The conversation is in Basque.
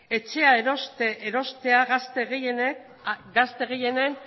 etxea erostea gazte gehienen